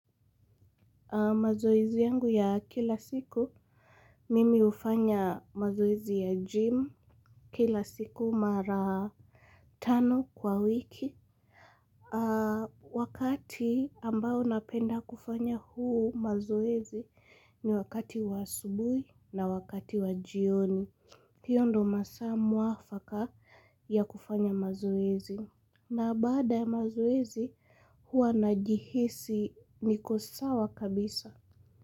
Mazoezi yangu ya kila siku mimi ufanya mazoezi ya gym. Kila siku mara tano kwa wiki. Wakati ambao napenda kufanya huu mazoezi ni wakati wa asubui na wakati wa jioni hio ndo masaa mwafaka ya kufanya mazoezi. Na baada ya mazoezi hua najihisi nikosawa kabisa.